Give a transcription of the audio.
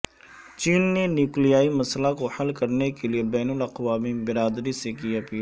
چین نے نیوکلیائی مسئلہ کو حل کرنے کے لئے بین الاقوامی برادری سے کی اپیل